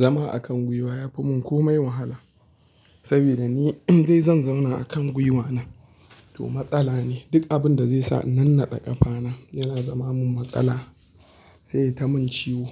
Zama a kan gwiwa ya fi mun komai wahala, saboda ni idan zan zauna a kan gwiwa na, to matsala ne. Duk abun da zai sa na nannaɗe ƙafa na yana zama mun matsala, sai yayita mun ciwo.